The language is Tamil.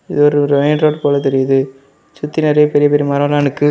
இது ஒரு_ரு ரோடு போல தெரியிது சுத்தி நேரிய பெரிய பெரிய மரோல நிக்கு.